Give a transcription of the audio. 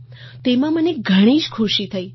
તો તેમાં મને ઘણી જ ખુશી થઈ